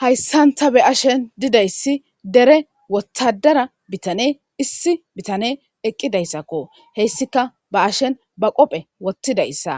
Hayssan ta be'ashen dida issi dere wottaddara bitanee issi bitanee eqqida issako, he issika ba'ashen ba qophphe wottida issa,